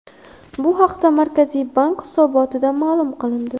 Bu haqda Markaziy bank hisobotida ma’lum qilindi .